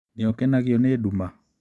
Nĩ ũkenagio nĩ nduma?